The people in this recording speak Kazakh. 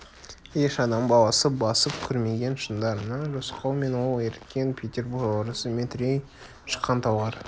еш адам баласы басып көрмеген шыңдарына рысқұл мен ол ерткен петербор орысы метрей шыққан талғар